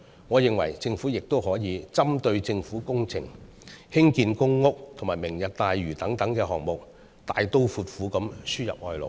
我認為，政府亦可針對政府工程、興建公屋和"明日大嶼"等項目，大刀闊斧地輸入外勞。